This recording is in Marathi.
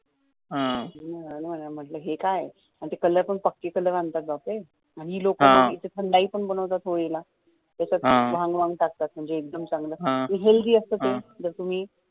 हे काय कलर पण पक्के कलर आणतात आणी ही लोकं थंडाई पण बनवतात होळीला त्यात भांग वांग टाकतात एकदम चांगलं ते healthy असतं ते